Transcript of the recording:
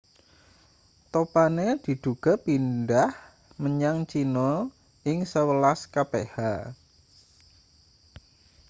topane diduga pindhah menyang china ing sewelas kph